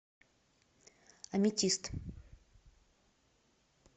аметист